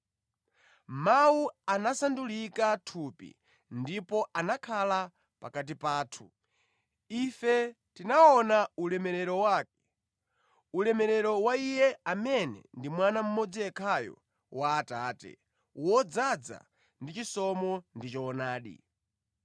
Mawu anasandulika thupi ndipo anakhala pakati pathu. Ife tinaona ulemerero wake, ulemerero wa Iye amene ndi Mwana mmodzi yekhayo wa Atate, wodzaza ndi chisomo ndi choonadi.